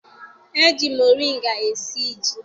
E ji moringa esi ji.